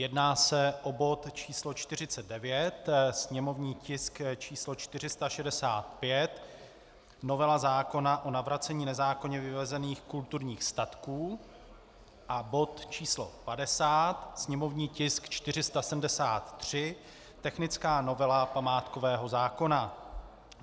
Jedná se o bod číslo 49, sněmovní tisk číslo 465, novela zákona o navracení nezákonně vyvezených kulturních statků, a bod číslo 50, sněmovní tisk 473, technická novela památkového zákona.